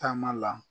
Taama la